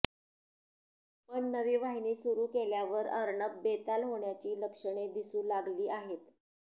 पण नवी वाहिनी सुरू केल्यावर अर्णब बेताल होण्याची लक्षणे दिसू लागली आहेत